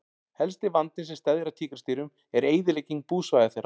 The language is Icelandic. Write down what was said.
Helsti vandinn sem steðjar að tígrisdýrum er eyðilegging búsvæða þeirra.